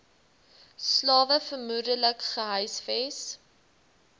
slawe vermoedelik gehuisves